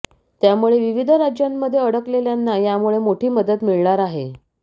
त्यामुळे विविध राज्यांमध्ये अडकलेल्यांना यामुळे मोठी मदत मिळणार आहे